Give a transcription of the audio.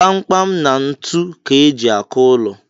Kpamkpam na ntu ka e ji akụ ụlọ